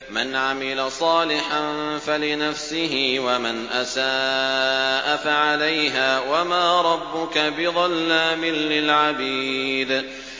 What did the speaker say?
مَّنْ عَمِلَ صَالِحًا فَلِنَفْسِهِ ۖ وَمَنْ أَسَاءَ فَعَلَيْهَا ۗ وَمَا رَبُّكَ بِظَلَّامٍ لِّلْعَبِيدِ